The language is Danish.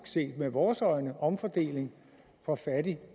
set med vores øjne omfordeling fra fattig